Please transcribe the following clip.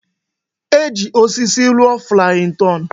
E ji osisi rụọ flayin ton